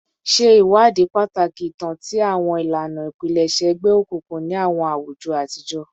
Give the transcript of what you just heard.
Ṣe iwadii pataki itan ti awọn ilana ipilẹṣẹ egbeokunkun ni awọn awujọ atijọ